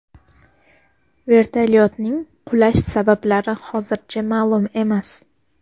Vertolyotning qulash sabablari hozircha ma’lum emas.